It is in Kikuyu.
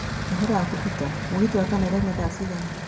ũhoro wakũ peter, mũgithi wa kana ũrauma thaa cigana